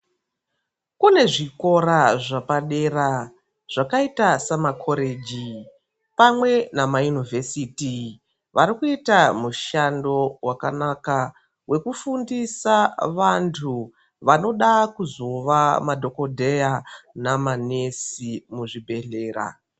Kune zvikora zvepadera zvakaita seMakoreji pamwe nama Yunivhesiti varikuita mushando wakanaka wekufundisa vantu vanode kuzova madhokoteya nama nesi muzvibhedhlera.